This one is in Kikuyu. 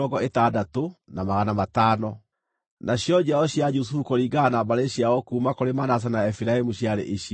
Nacio njiaro cia Jusufu kũringana na mbarĩ ciao kuuma kũrĩ Manase na Efiraimu ciarĩ ici: